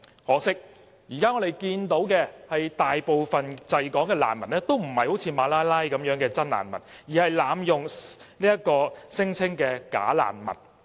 可惜，現時我們看到的是，大部分滯港的難民都不是如馬拉拉般的真難民，而是濫用聲請的"假難民"。